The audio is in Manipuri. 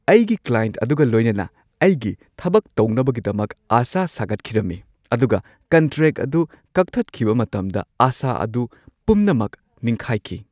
ꯑꯩꯒꯤ ꯀ꯭ꯂꯥꯏꯟꯠ ꯑꯗꯨꯒ ꯂꯣꯏꯅꯅ ꯑꯩꯒꯤ ꯊꯕꯛ ꯇꯧꯅꯕꯒꯤꯗꯃꯛ ꯑꯁꯥ ꯁꯥꯒꯠꯈꯤꯔꯝꯃꯤ ꯑꯗꯨꯒ ꯀꯟꯇ꯭ꯔꯦꯛ ꯑꯗꯨ ꯀꯛꯊꯠꯈꯤꯕ ꯃꯇꯝꯗ ꯑꯁꯥ ꯑꯗꯨ ꯄꯨꯝꯅꯃꯛ ꯅꯤꯡꯈꯥꯏꯈꯤ ꯫